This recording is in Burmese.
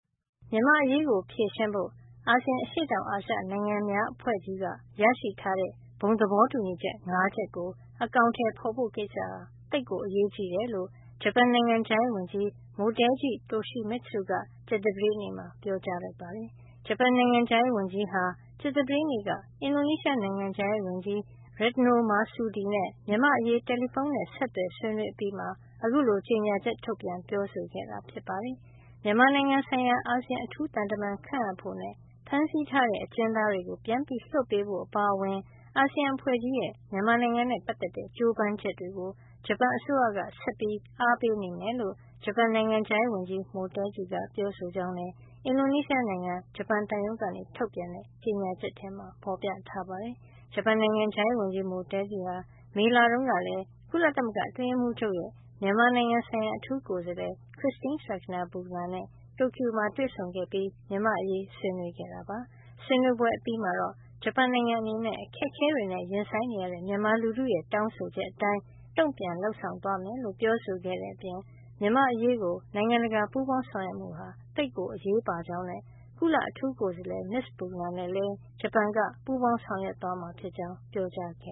မြန်မာ့အရေးကို ဖြေရှင်းဖို့ အာဆီယံ အရှေ့တောင်အာရှ နိုင်ငံများအဖွဲ့ကြီးက ရရှိထားတဲ့ ဘုံသဘောတူညီချက် ၅ ချက်ကို အကောင်ထည်ဖို့ကိစ္စဟာ သိပ်ကို အရေးကြီးတယ်လို့ ဂျပန်နိုင်ငံခြားရေးဝန်ကြီး Motegi Toshimitsu က ကြာသပတေးနေ့မှာ ပြောကြားလိုက်ပါတယ်။ ဂျပန်နိုင်ငံခြားရေးဝန်ကြီး ဟာ ကြာသပတေးနေ့က အင်ဒိုနီးရှားနိုင်ငံခြားရေးဝန်ကြီး Retno Marsudi နဲ့ မြန်မာ့အရေး တယ်လီဖုန်းနဲ့ ဆက်သွယ် ဆွေးနွေအပြီးမှာ အခုလို ကြေညာချက် ထုတ်ပြန် ပြောဆိုခဲ့တာ ဖြစ်ပါတယ်။ မြန်မာနိုင်ငံ ဆိုင်ရာ အာဆီယံ အထူးသံတမန်ခန့်အပ်ဖို့ နဲ့ ဖမ်းဆီးထားတဲ့ အကျဉ်းသားတွေ ပြန်လွှတ်ပေးဖို့ အပါအဝင် အာဆီယံ အဖွဲ့ကြီးရဲ့ မြန်မာနိုင်ငံနဲ့ ပတ်သက်တဲ့ ကြိုးပမ်းချက်တွေကို ဂျပန်အစိုးရက ဆက်ပြီး အားပေးနေမယ်လို့ ဂျပန်နိုင်ငံခြားရေးဝန်ကြီး Motegi က ပြောဆိုကြောင်းလည်း အင်ဒိုနီးရှားနိုင်းငံ ဂျပန်သံရုံးက ထုတ်ပြန်တဲ့ ကြေညာချက်မှာ ဖေါ်ပြထားပါတယ်။ ဂျပန်နိုင်ငံခြားရေးဝန်ကြီး Motegi ဟာ မေလတုန်းကလည်း ကုလသမဂ္ဂအတွင်းရေးမှုးချုပ်ရဲ့ မြန်မာနိုင်ငံဆိုင်ရာ အထူးကိုယ်စားလှယ် Christine Schraner Burgener နဲ့ တိုကျိုမှာ တွေ့ဆုံခဲ့ပြီး မြန်မာ့အရေး ဆွေးနွေးခဲ့တာပါ။ ဆွေးနွေးပွဲအပြီးမှာတော့ ဂျပန်နိုင်ငံ အနေနဲ့ အခက်အခဲတွေနဲ့ ရင်ဆိုင်နရတဲ့ မြန်မာလူထုရဲ့ တောင်းဆိုချက်အတိုင်း တုံ့ပြန်လုပ်ဆောင်သွားမယ်လို့ ပြောဆိုခဲ့တဲ့ အပြင် မြန်မာ့အရေးကို နိုင်ငံတကာ ပူးပေါင်းဆောင်ရွက်မှုဟာ သိပ်အရေးပါကြောင်းနဲ့ ကုလအထူးကိုယ်စားလှယ် မစ္စ Burgener နဲ့လည်း ဂျပန်က ပူးပေါင်းဆောင်ရွက်သွာမှာ ဖြစ်ကြောင်း ပြောကြားခဲ